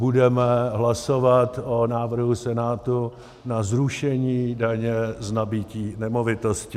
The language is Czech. Budeme hlasovat o návrhu Senátu na zrušení daně z nabytí nemovitostí.